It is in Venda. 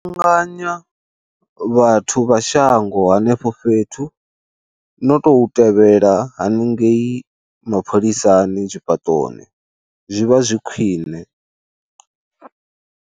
Kuvhanganya vhathu vha shango hanefho fhethu, no tou tevhela haningei mapholisani tshifhaṱoni, zwi vha zwi khwine.